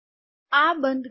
આ બંધ કરો